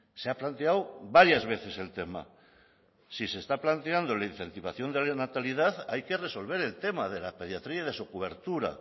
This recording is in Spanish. se ha planteado varias veces el tema si se está planteando la incentivación de la natalidad hay que resolver el tema de la pediatría y de su cobertura